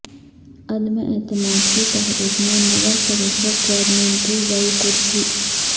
عدم اعتماد کی تحریک میں نگر پریشد چیرمین کی گئی کرسی